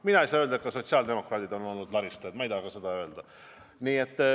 Mina ei saa öelda, et sotsiaaldemokraadid on olnud laristajad, ma ka ei taha seda öelda.